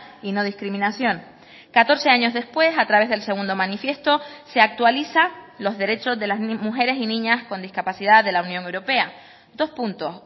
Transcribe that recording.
y no discriminación catorce años después a través del segundo manifiesto se actualiza los derechos de las mujeres y niñas con discapacidad de la unión europea dos puntos